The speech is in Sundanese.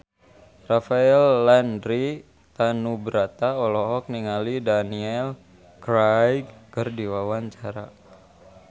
Rafael Landry Tanubrata olohok ningali Daniel Craig keur diwawancara